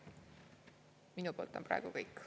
Minu poolt on praegu kõik.